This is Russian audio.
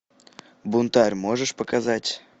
бунтарь можешь показать